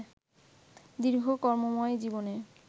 দীর্ঘ কর্মময় জীবনে